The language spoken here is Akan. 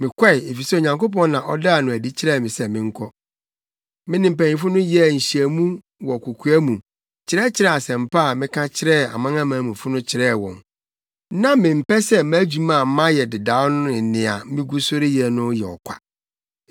Mekɔe, efisɛ Onyankopɔn na ɔdaa no adi kyerɛɛ me se menkɔ. Me ne mpanyimfo no yɛɛ nhyiamu wɔ kokoa mu kyerɛkyerɛɛ asɛmpa a meka kyerɛɛ amanamanmufo no kyerɛɛ wɔn. Na mempɛ sɛ mʼadwuma a mayɛ dedaw ne nea migu so reyɛ no yɛ ɔkwa.